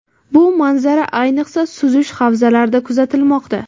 Bu manzara, ayniqsa, suzish havzalarida kuzatilmoqda.